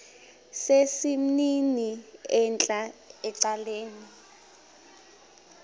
sesimnini entla ecaleni